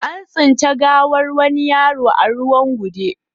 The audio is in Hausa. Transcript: An tsinci gawar wani yaro a ruwan gude